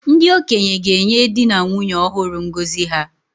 Ndị okenye ga-enye di na nwunye ọhụrụ ngọzi ha